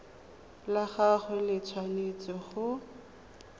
la gagwe le tshwanetse go